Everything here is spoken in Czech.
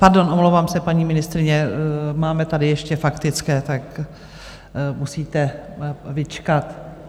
Pardon, omlouvám se, paní ministryně, máme tady ještě faktické, tak musíte vyčkat.